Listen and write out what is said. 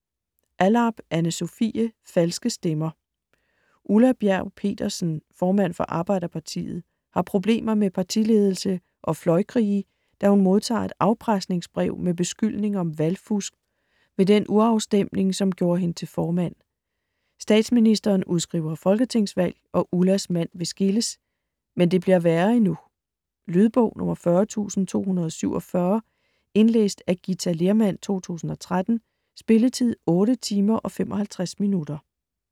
Allarp, Anne Sofie: Falske Stemmer Ulla Bjerg Petersen, formand for Arbejderpartiet, har problemer med partiledelse og fløjkrige, da hun modtager et afpresningsbrev med beskyldning om valgfusk ved den urafstemning, som gjorde hende til formand. Statsministeren udskriver folketingsvalg, og Ullas mand vil skilles. Men det bliver værre endnu. Lydbog 40247 Indlæst af Githa Lehrmann, 2013. Spilletid: 8 timer, 55 minutter.